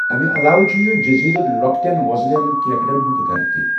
امہِ علاوٕ چھُ یہِ جٔزیٖرٕ لۄکٹین وۄزلٮ۪ن کیکڑن ہُنٛد گرٕ تہِ۔